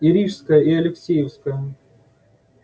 и рижская и алексеевская